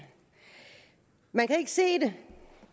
man kan ikke se det